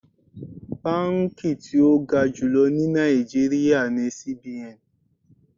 Báǹkì tí ó ga jùlọ ní Nàìjíríà ni CBN.